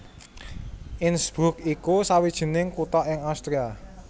Innsbruck iku sawijining kutha ing Austria